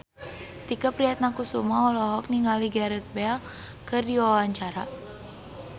Tike Priatnakusuma olohok ningali Gareth Bale keur diwawancara